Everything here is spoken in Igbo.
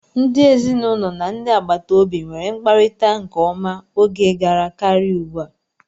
Ndị ezinụlọ na ndị agbataobi nweere mkparita nke ọma oge gara karịa ugbu a.